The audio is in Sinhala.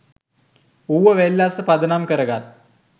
ඌව වෙල්ලස්ස පදනම් කරගත්